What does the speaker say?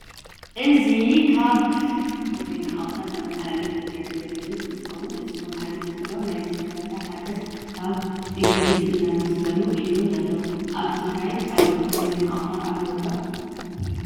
እዚ ካብ ዜና ኣውተር ዘማሕላልፍ ትግራይ ተሌቭዝን እንትከውን እቲ ዝመሓለለፍ ዘሎ ናይ ዝተገበረ ሓገዝ ካብ እንግሊ እንዳኣመስገኑ እዮም ዘለው። ኣብ ትግራይ ካልኦት ናይ ዜና ኣውትር ኣለው ዶ?